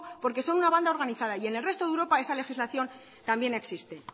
porque son una banda organizada y en el resto de europa esa legislación también existe